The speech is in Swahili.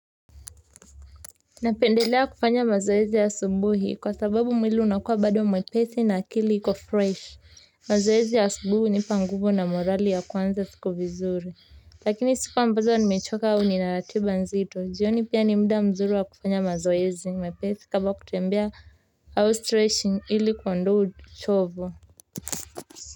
Napendelea kufanya mazoezi ya subuhi kwa sababu mwili unakuwa bado mwepesi na akili iko fresh mazoezi ya asubuhi hunipa nguvu na morali ya kuanza siku vizuri lakini siku ambazo ni mechoka au nina ratiba nzito jioni pia ni mda mzuri wa kufanya mazoezi mepesi kama kutembea au streching ili kuondoa uchovu.